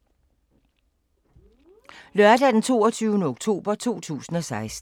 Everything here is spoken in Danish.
Lørdag d. 22. oktober 2016